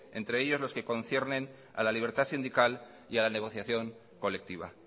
entre ellos los que conciernen a la libertad sindical y a la negociación colectiva